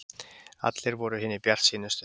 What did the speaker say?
Allir voru hinir bjartsýnustu.